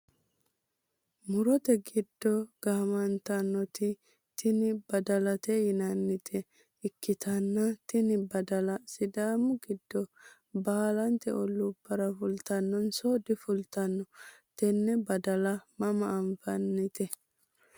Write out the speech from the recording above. murote giddo gaamantannoti tini badalate yinannita ikkitanna, tini badala sidaamu giddo baalante olluubbara fultannonso difultanno? tenne badala mama anfannite ?